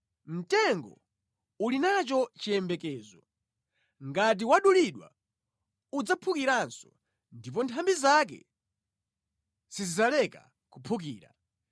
“Mtengo uli nacho chiyembekezo: ngati wadulidwa, udzaphukiranso ndipo nthambi zake sizidzaleka kuphukira.